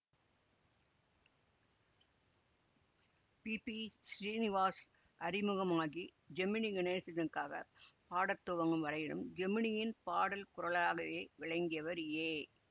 B B Srinivas அறிமுகமாகி ஜெமினி கணேசனுக்காகப் பாடத்துவங்கும் வரையிலும் ஜெமினியின் பாடற்குரலாகவே விளங்கியவர் ஏ